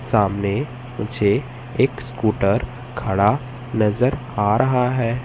सामने मुझे एक स्कूटर खड़ा नजर आ रहा है।